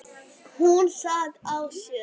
Hún sat á sér.